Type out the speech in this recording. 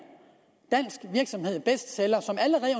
dansk virksomhed bestseller som allerede